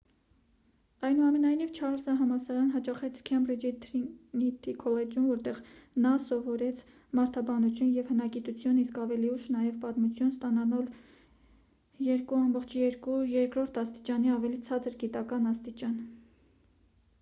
այնուամենայնիվ չառլզը համալսարան հաճախեց քեմբրիջի թրինիթի քոլեջում որտեղ նա սովորեց մարդաբանություն և հնագիտություն իսկ ավելի ուշ՝ նաև պատմություն` ստանալով 2:2 երկրորդ աստիճանի ավելի ցածր գիտական աստիճան: